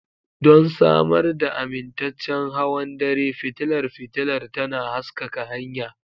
Don samar da amintaccen hawan dare, fitilar fitilar tana haskaka hanya.